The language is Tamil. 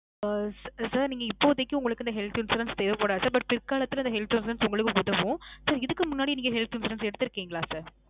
ஆ. sir நீங்க இப்போதைக்கு உங்களுக்கு இந்த health insurance தேவபடாது. But பிற்காலத்துல இந்த health insurance உங்களுக்கு உதவும். sir இதுக்கு முன்னாடி நீங்க health insurance எடுத்திருக்கீங்களா sir?